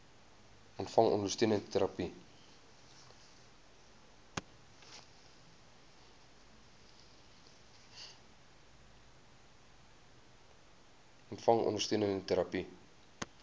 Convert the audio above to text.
ontvang ondersteunende terapie